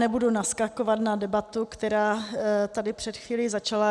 Nebudu naskakovat na debatu, která tady před chvílí začala.